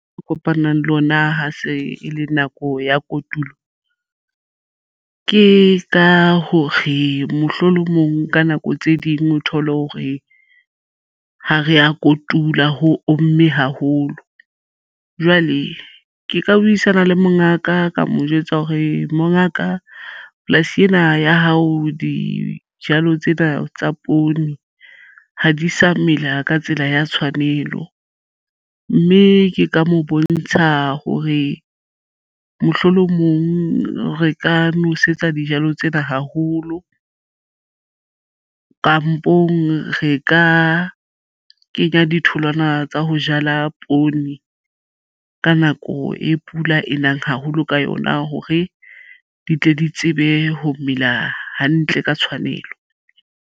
Kopanang le ona ha se e le nako ya kotulo ke ka hore mohlolomong ka nako tse ding o thole hore ha re ya kotula ho omme haholo. Jwale ke ka buisana le mongaka ka mo jwetsa hore mongaka polasi ena ya hao dijalo tsena tsa poone ha di sa mela ka tsela ya tshwanelo, mme ke ka mo bontsha hore mohlolomong re ka nosetsa dijalo tsena haholo kampong re ka kenya ditholwana tsa ho jala poone ka nako e pula e nang haholo ka yona hore di tle di tsebe ho mela hantle ka tshwanelo.